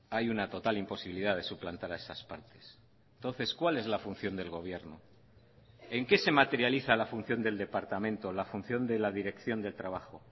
hay una total imposibilidad de suplantar a esas partes entonces cuál es la función del gobierno en qué se materializa la función del departamento la función de la dirección del trabajo